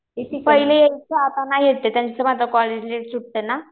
पहिले यायचे आता नाही येत त्यांचं माझं कॉलेज लेट सुटतं ना.